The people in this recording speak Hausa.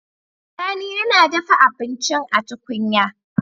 Sani yAna dafa abincin a tukunya